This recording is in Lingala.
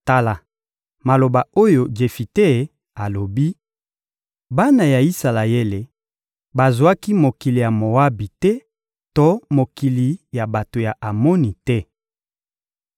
— Tala maloba oyo Jefite alobi: «Bana ya Isalaele bazwaki mokili ya Moabi te to mokili ya bato ya Amoni te.